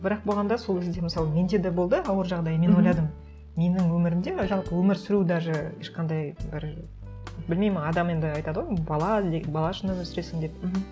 бірақ болғанда сол кезде мысалы менде де болды ауыр жағдай и мен ойладым менің өмірімде жалпы өмір сүру даже ешқандай бір білмеймін адам енді айтады ғой м бала бала үшін өмір сүресің деп мхм